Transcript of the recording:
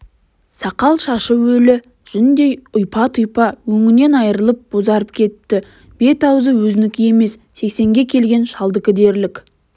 сақал-шашы өлі жүндей ұйпа-тұйпа өңінен айрылып бозарып кетіпті бет-аузы өзінікі емес сексенге келген шалдікі дерлік